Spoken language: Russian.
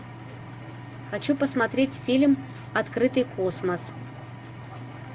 хочу посмотреть фильм открытый космос